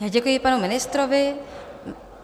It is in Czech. Děkuji panu ministrovi.